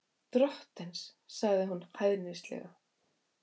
Drottins, sagði hún hæðnislega.